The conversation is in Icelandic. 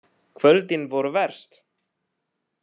Kvöldin voru verst.